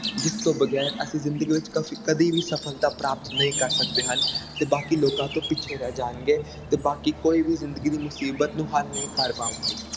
ਜਿਸ ਤੋਂ ਬੇਗੈਰ ਅਸੀਂ ਜਿੰਦਗੀ ਵਿਚ ਕਦੇ ਵੀ ਸਫਲਤਾ ਪ੍ਰਾਪਤ ਨਹੀਂ ਕਰ ਸਕਦੇ ਹਨ ਤੇ ਬਾਕੀ ਲੋਕਾਂ ਤੋਂ ਪਿੱਛੇ ਰਹਿ ਜਾਣਗੇ ਤੇ ਬਾਕੀ ਕੋਈ ਵੀ ਜ਼ਿੰਦਗੀ ਦੀ ਮੁਸਬੀਤ ਨੂੰ ਹਾਲ ਨਹੀਂ ਕਰ ਪਾਵੰਗੇ